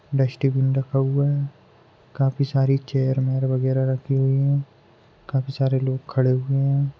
Dustbin रखा हुआ है काफी सारी चेयर वेअर वगेरा रखी हुई है काफी सारे लोग खड़े हुए है।